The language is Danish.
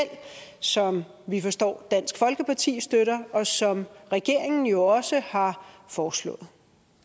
som vi forstår at dansk folkepartis støtter og som regeringen jo også har foreslået